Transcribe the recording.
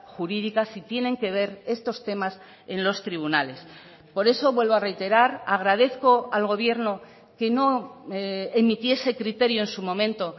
jurídica si tienen que ver estos temas en los tribunales por eso vuelvo a reiterar agradezco al gobierno que no emitiese criterio en su momento